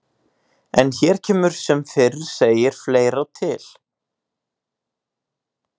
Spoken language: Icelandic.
En hér kemur sem fyrr segir fleira til.